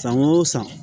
San o san